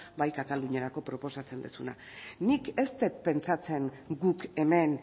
bai kataluniarako proposatzen duzuna nik ez dut pentsatzen guk hemen